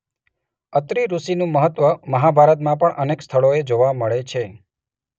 અત્રિ ઋષિનું મહત્વ મહાભારતમાં પણ અનેક સ્થળોએ જોવા મળે છે.